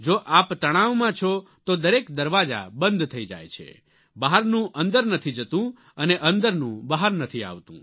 જો આપ તણાવમાં છો તો દરેક દરવાજા બંધ થઈ જાય છે બહારનું અંદર નથી જતું અને અંદરનું બહાર નથી આવતું